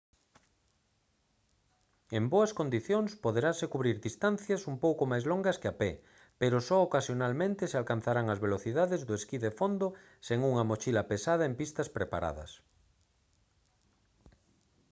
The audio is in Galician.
en boas condicións poderanse cubrir distancias un pouco máis longas que a pé pero só ocasionalmente se alcanzarán as velocidades do esquí de fondo sen unha mochila pesada en pistas preparadas